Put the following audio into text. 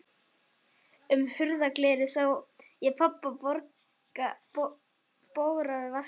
Inn um hurðarglerið sé ég pabba bogra við vaskinn.